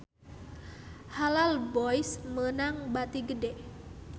Halal Boys meunang bati gede